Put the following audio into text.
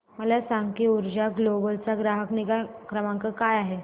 मला सांग की ऊर्जा ग्लोबल चा ग्राहक निगा क्रमांक काय आहे